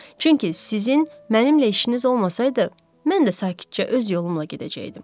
Çünki sizin mənimlə işiniz olmasaydı, mən də sakitcə öz yolumla gedəcəkdim.